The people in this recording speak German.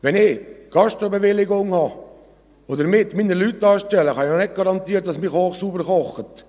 Wenn ich eine Gastrobewilligung habe und damit meine Leute anstelle, kann ich nicht garantieren, dass mein Koch sauber kocht.